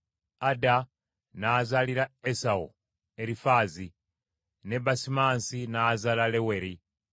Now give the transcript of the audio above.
Ada n’azaalira Esawu Erifaazi, ne Basimansi n’azaala Leweri;